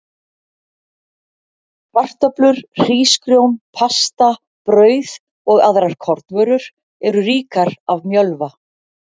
Kartöflur, hrísgrjón, pasta, brauð og aðrar kornvörur eru ríkar af mjölva.